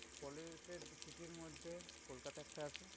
Polluted city র মধ্যে কলকাতা একটা আছে।